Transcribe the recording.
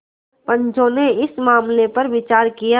पंचो ने इस मामले पर विचार किया